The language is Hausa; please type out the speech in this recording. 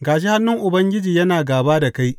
Ga shi hannun Ubangiji yana gāba da kai.